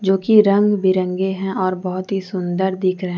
जो कि रंग बिरंगे हैं और बहुत ही सुंदर दिख रहे हैं।